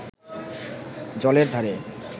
জলের ধারে